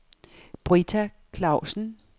Britta Clausen